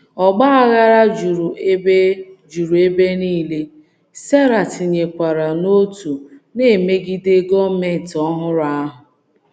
Ọgba aghara juru ebe juru ebe nile, Sara tịnyekwara n’òtù na - emegide gọọmenti ọhụrụ ahụ.